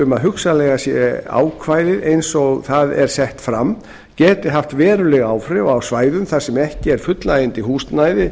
sé að ákvæðið eins og það er sett fram geti haft veruleg áhrif á svæðum þar sem ekki er fullnægjandi húsnæði